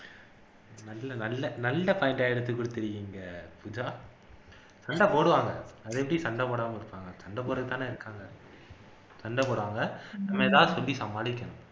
நல்ல நல்ல நல்ல point ஆ எடுத்து குடுத்துருக்கீங்க பூஜா சண்டை போடுவாங்க அதெப்படி சண்டை போடாம இருப்பாங்க சண்டை போடுறதுக்குதான இருக்காங்க சண்டை போடுவாங்க நம்ம ஏதாவது சொல்லி சமாளிக்கணும்